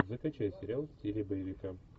закачай сериал в стиле боевика